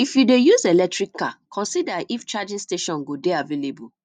if you dey use electric car consider if charging station go dey available